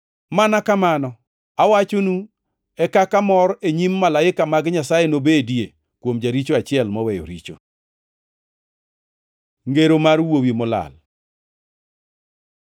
Mana kamano, awachonu e kaka mor e nyim malaika mag Nyasaye nobedie kuom jaricho achiel moweyo richo.” Ngero mar wuowi molal